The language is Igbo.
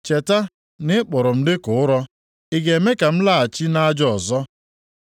Cheta na ị kpụrụ m dịka ụrọ. Ị ga-eme ka m laghachi nʼaja ọzọ?